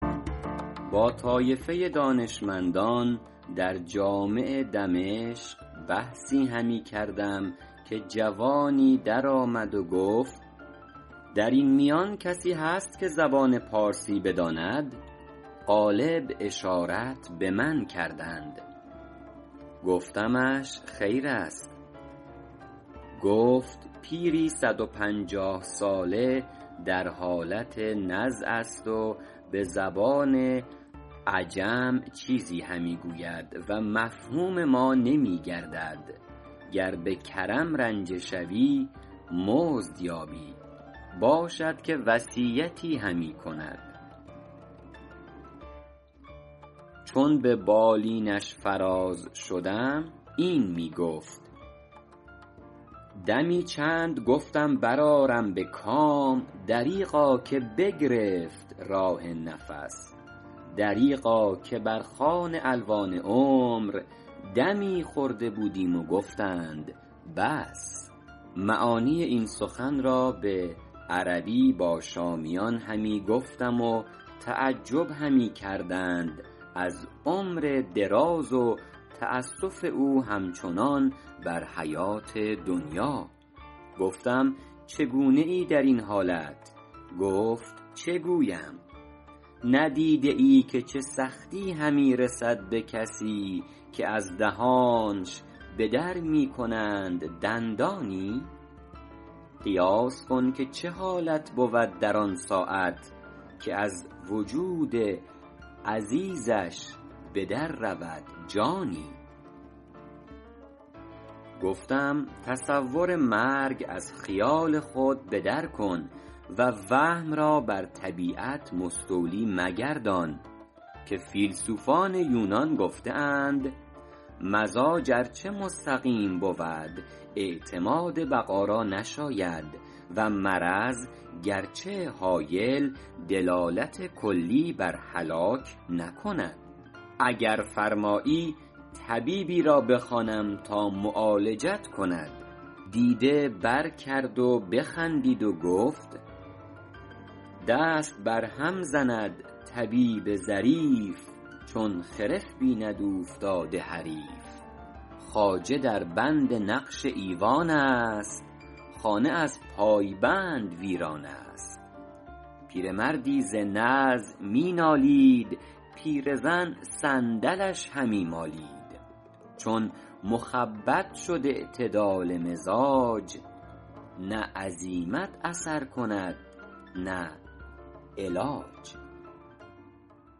با طایفه دانشمندان در جامع دمشق بحثی همی کردم که جوانی در آمد و گفت در این میان کسی هست که زبان پارسی بداند غالب اشارت به من کردند گفتمش خیر است گفت پیری صد و پنجاه ساله در حالت نزع است و به زبان عجم چیزی همی گوید و مفهوم ما نمی گردد گر به کرم رنجه شوی مزد یابی باشد که وصیتی همی کند چون به بالینش فراز شدم این می گفت دمی چند گفتم بر آرم به کام دریغا که بگرفت راه نفس دریغا که بر خوان الوان عمر دمی خورده بودیم و گفتند بس معانی این سخن را به عربی با شامیان همی گفتم و تعجب همی کردند از عمر دراز و تأسف او همچنان بر حیات دنیا گفتم چگونه ای در این حالت گفت چه گویم ندیده ای که چه سختی همی رسد به کسی که از دهانش به در می کنند دندانی قیاس کن که چه حالت بود در آن ساعت که از وجود عزیزش به در رود جانی گفتم تصور مرگ از خیال خود به در کن و وهم را بر طبیعت مستولی مگردان که فیلسوفان یونان گفته اند مزاج ار چه مستقیم بود اعتماد بقا را نشاید و مرض گرچه هایل دلالت کلی بر هلاک نکند اگر فرمایی طبیبی را بخوانم تا معالجت کند دیده بر کرد و بخندید و گفت دست بر هم زند طبیب ظریف چون خرف بیند اوفتاده حریف خواجه در بند نقش ایوان است خانه از پایبند ویران است پیرمردی ز نزع می نالید پیرزن صندلش همی مالید چون مخبط شد اعتدال مزاج نه عزیمت اثر کند نه علاج